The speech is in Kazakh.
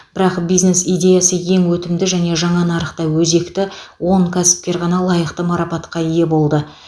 бірақ бизнес идеясы ең өтімді және жаңа нарықта өзекті он кәсіпкер ғана лайықты марапатқа ие болды